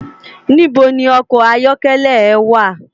Nibó ni òkò àyòkèlè è wá?